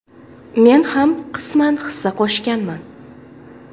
Men ham qisman hissa qo‘shganman.